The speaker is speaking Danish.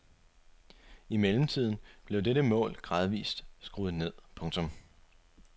I mellemtiden blev dette mål gradvist skruet ned. punktum